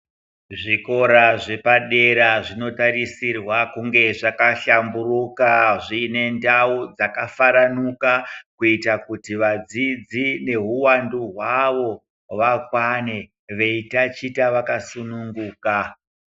Zvikora zvepadera zvinotarisirwa kunge zvakahlamburuka zviine ndau dzakafaranuka. Kuita kuti vadzidzi neuvandu hwavo vakwane vaitachita vakasununguka.